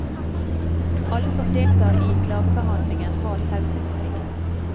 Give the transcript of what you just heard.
Alle som deltar i klagebehandlingen har taushetsplikt.